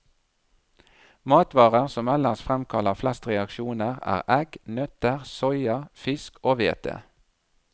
Matvarer som ellers fremkaller flest reaksjoner, er egg, nøtter, soya, fisk og hvete.